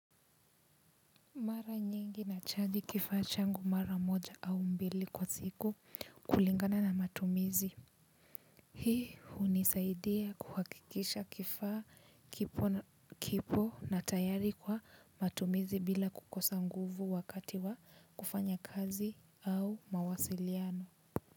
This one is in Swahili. Mara nyingi nachaji kifaa changu mara moja au mbili kwa siku kulingana na matumizi. Hii hunisaidia kuhakikisha kifaa kipo na tayari kwa matumizi bila kukosa nguvu wakati wa kufanya kazi au mawasiliano.